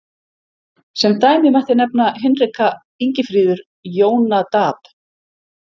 Sem dæmi mætti nefna Hinrika, Ingifríður, Jónadab.